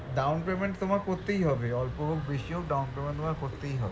down payment তোমার করতেই হবে অল্প হোক বেশি হোক down payment তোমায় করতেই হবে